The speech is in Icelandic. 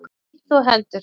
Hitt þó heldur.